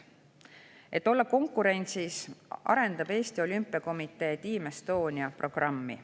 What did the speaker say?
Et olla konkurentsis, arendab Eesti Olümpiakomitee Team Estonia programmi.